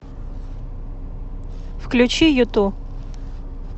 включи юту